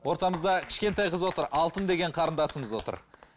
ортамызда кішкентай қыз отыр алтын деген қарындасымыз отыр